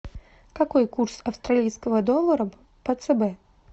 какой курс австралийского доллара по цб